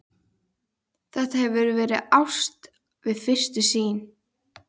Jóni hafði gengið illa að finna sér kvenkost við hæfi.